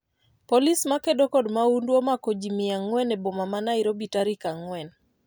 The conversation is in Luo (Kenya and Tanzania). polise makedo kod maundu omako ji mia ang'wen e Boma ma Nairobi tarik ang'wen